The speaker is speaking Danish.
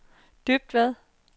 Dybvad